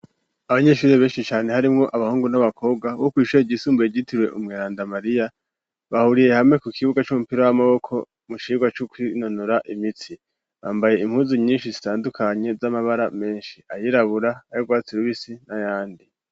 Abanyeshuri benshi cane harimwo abahungu n'abakobwa wo kwishoya igisumbu rigitirwe umwerandamariya bahuriye hame ku kibuga c'umupira w'amaboko mushirwa c'ukwinonora imitsi bambaye impuzu nyinshi zitandukanye z'amabara menshi ayirabura ayarwatsi irubisi n'a yandi.